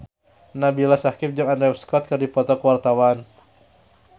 Nabila Syakieb jeung Andrew Scott keur dipoto ku wartawan